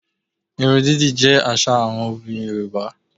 Irun dídì jẹ́ àṣà àwọn obìnrin Yorùbá